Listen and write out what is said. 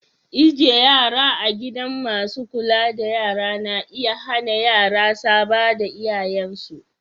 Ijie yara a gidan masun kulla da yara na iya hanna yara saba da iyayen su.